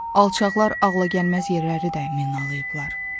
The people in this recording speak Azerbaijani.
Alçaqlar ağlagəlməz yerləri də minalayıblar.